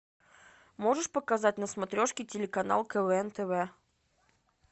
можешь показать на смотрешке телеканал квн тв